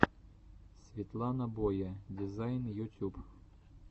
светлана боя дизайн ютюб